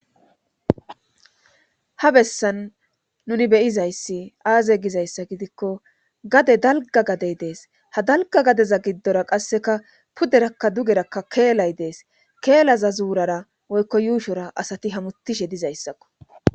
ha bessan nuni beyizayssi aaze gizayssa gidikko gade dalga gadey dees ha dalga gadeza giddora qasseka pudderakka dugerakka keelay dees keelaza zuurara woykko yuushora asati hamutishe dizayssakko